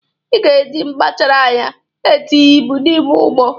Ị ga-eji mgbachara anya na-etinye ibu n'ime ụgbọ!